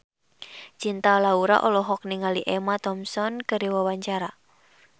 Cinta Laura olohok ningali Emma Thompson keur diwawancara